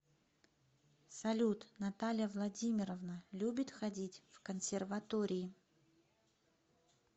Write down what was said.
салют наталья владимировна любит ходить в консерватории